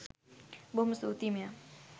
බොහොම ස්තූති මෙයා.